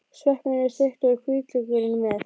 Sveppirnir eru steiktir og hvítlaukurinn með.